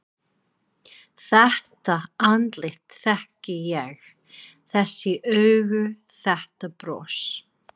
Þetta andlit þekki ég: Þessi augu, þetta bros.